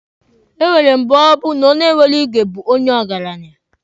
E nwere mgbe ọ bụ na onye nwere igwe bụ ndị ọgaranya.